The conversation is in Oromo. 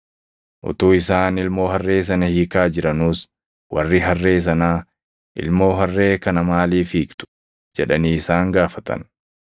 Utuu isaan ilmoo harree sana hiikaa jiranuus warri harree sanaa, “Ilmoo harree kana maaliif hiiktu?” jedhanii isaan gaafatan.